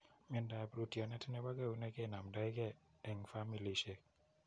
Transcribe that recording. Miandoap rootyonet nepo keunek kenamdai ge eng' familishek .